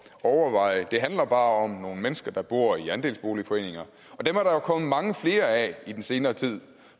overveje det handler bare om nogle mennesker der bor i andelsboligforeninger dem er der kommet mange flere af i den senere tid